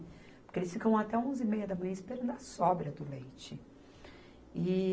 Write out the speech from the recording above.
Porque eles ficam até onze e meia da manhã esperando a sobra do leite. E